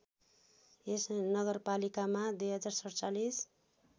यस नगरपालिकामा २०४७